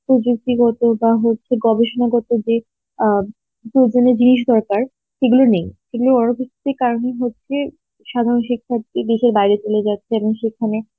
প্রযুক্তিগত বা হচ্ছে গবেষণাগত যে আ প্রয়োজনীয় জিনিস দরকার সেগুলো নেই সেগুলো কারন হচ্ছে যে সাধারণ শিক্ষার্থী দেশের বাইরে চলে যাচ্ছে এবং সেখানে